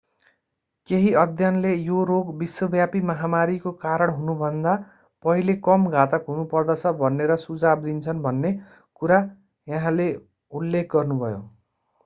केही अध्ययनले यो रोग विश्वव्यापी महामारीको कारण हुनुभन्दा पहिले कम घातक हुनुपर्दछ भनेर सुझाव दिन्छन् भन्ने कुरा उहाँले उल्लेख गर्नुभयो